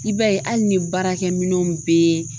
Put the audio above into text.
I b'a ye hali ni baarakɛminɛnw bɛ